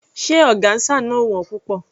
Ṣé ọgáńsà náà ò wón púpọ̀?